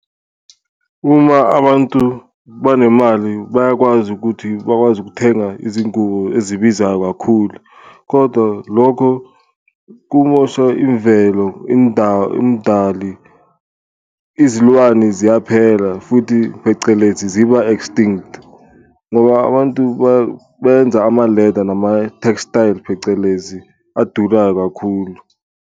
Uma abantu banemali bayakwazi ukuthi bakwazi ukuthenga izingubo ezibizayo kakhulu kodwa lokho kumosha imvelo, indali izilwane ziyaphela futhi phecelezi ziba-extinct. Ngoba abantu benza amaleda nama-textile phecelezi adurayo kakhulu.